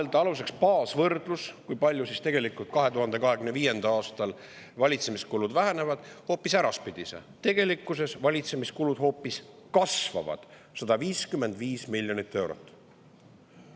Kui võtta aluseks baasvõrdlus, kui palju 2025. aastal valitsemiskulud vähenevad, siis tegelikkuses valitsemiskulud hoopis kasvavad 155 miljoni euro võrra.